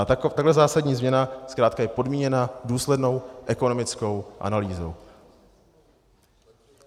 A tak prvozásadní změna zkrátka je podmíněna důslednou ekonomickou analýzou.